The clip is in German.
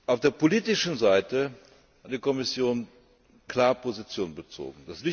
Auf der politischen Seite hat die Kommission klar Position bezogen.